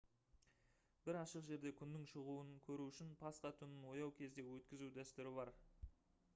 бір ашық жерде күннің шығуын көру үшін пасха түнін ояу күйде өткізу дәстүрі бар